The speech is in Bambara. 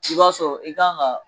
I b'a sɔrɔ i kan ka